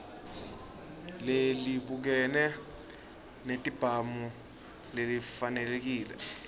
lelibukene netibhamu lelifanelekile